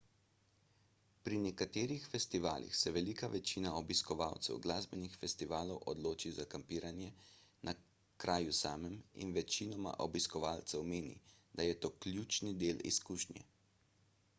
pri nekaterih festivalih se velika večina obiskovalcev glasbenih festivalov odloči za kampiranje na kraju samem in večina obiskovalcev meni da je to ključni del izkušnje